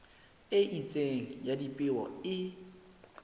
e itseng ya dipeo e